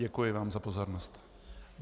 Děkuji vám za pozornost.